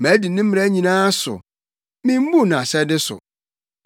Madi ne mmara nyinaa so: mimmuu nʼahyɛde so.